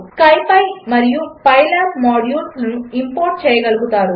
4 SciPy మరియు PyLab మాడ్యూల్స్లను import చేయగలుగుతారు